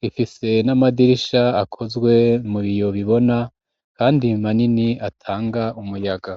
gifise n'amadirisha akozwe mu biyo bibona kandi manini atanga umuyaga.